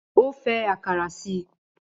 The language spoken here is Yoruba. Ó fẹ́ àkàrà síi